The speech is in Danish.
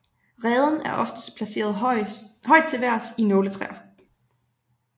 Reden er oftest placeret højt til vejrs i nåletræer